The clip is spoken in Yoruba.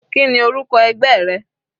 Kíni orúkọ ẹgbẹ́ rẹ?